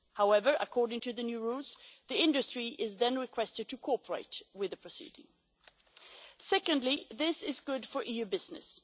However, according to the new rules, the industry is then requested to cooperate with the proceeding. Secondly, this is good for EU business.